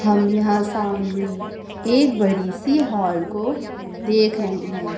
हम यहां सामने एक बड़ी सी हॉल को देख रहे हैं।